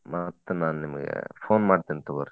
ಮತ್ತ ನಾ ನಿಮ್ಗ phone ಮಾಡ್ತೇನಿ ತಗೋರಿ.